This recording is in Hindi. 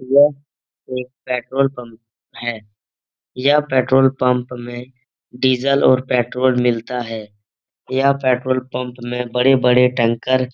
यह एक पेट्रोल पंप है । यह पेट्रोल पंप में डीज़ल और पेट्रोल मिलता है । यह पेट्रोल पंप में बड़े- बड़े टैंकर